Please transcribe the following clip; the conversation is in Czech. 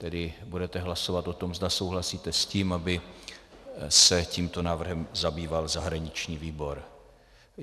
Tedy budete hlasovat o tom, zda souhlasíte s tím, aby se tímto návrhem zabýval zahraniční výbor.